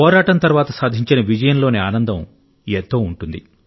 పోరాటం తర్వాత సాధించిన విజయంలోని ఆనందం ఎంతో ఉంటుంది